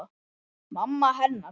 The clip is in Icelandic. Mamma hennar.